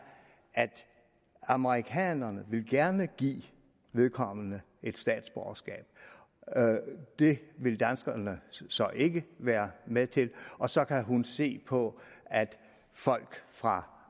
at amerikanerne gerne vil give vedkommende et statsborgerskab det vil danskerne så ikke være med til og så kan hun se på at folk fra